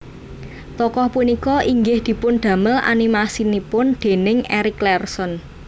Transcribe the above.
Tokoh punika inggih dipundamel animasinipun déning Eric Larson